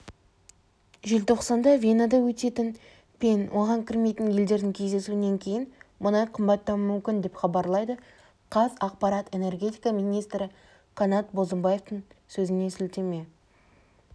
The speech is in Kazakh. желтоқсанда венада өтетін пен оған кірмейтін елдердің кездесуінен кейін мұнай қымбаттауы мүмкін деп хабарлайды қазақпарат энергетика министрі қанат бозымбаевтың сөзіне сілтеме